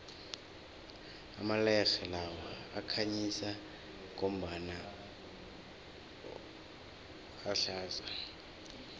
amalerhe lawa akhanyisa ngombala ohlaza